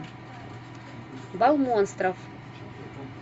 бал монстров